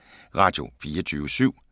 Radio24syv